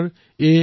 কথাটো সঁচা